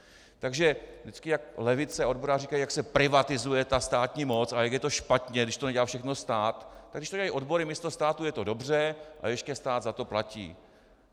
Takže vždycky jak levice, odboráři, říkají, jak se privatizuje ta státní moc a jak je to špatně, když to nedělá všechno stát, tak když to dělají odbory místo státu, je to dobře a ještě stát za to platí.